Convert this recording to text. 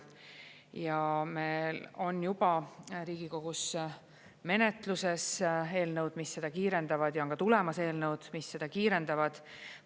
Ja meil on juba Riigikogus menetluses eelnõud, mis seda kiirendavad, ja on ka tulemas eelnõud, mis seda kiirendavad.